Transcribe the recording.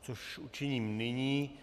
což učiním nyní.